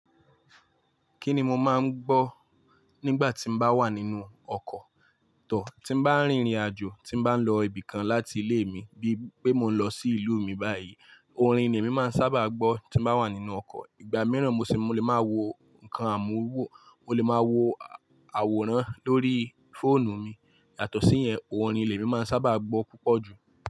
Kí ni mo máa ń gbọ́ nígbà tí n bá wà nínú ọkọ̀ tọ̀, tí n bá rìnrìn-àjò, tí n bá lọ ibì kan láti ilé mi, bí i pé mo ń lọ sí ìlú mi báyìí. Orin ni ẹ̀mi máa ń sábà gbọ́ tí mo bá wà nínú ọkọ̀. Ìgbà mìíràn mo sì máa ń wo nǹkan àmúhuwọ̀, mo lè máa wo àwòrán lórí fóònù mi. Yàtọ̀ sí ìyẹn, orin lẹ̀mi máa ń sábà gbọ́ púpọ̀ jù.